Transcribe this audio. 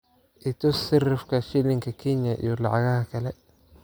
i tus sarifka shilinka kenya iyo lacagaha kale